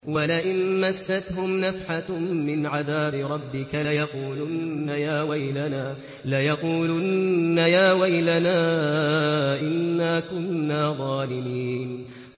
وَلَئِن مَّسَّتْهُمْ نَفْحَةٌ مِّنْ عَذَابِ رَبِّكَ لَيَقُولُنَّ يَا وَيْلَنَا إِنَّا كُنَّا ظَالِمِينَ